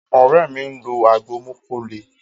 Ore mi nlọ agbo mókó lè.